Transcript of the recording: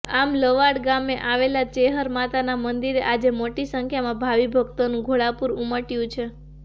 આમ લવાડ ગામે આવેલ ચેહર માતાના મંદીરે આજે મોટી સંખ્યામા ભાવી ભક્તોનુ ઘોડાપુર ઉમટ્યુ છે